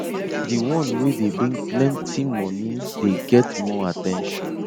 the one wey dey bring plenty moni dey get more at ten tion